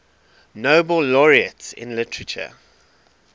nobel laureates in literature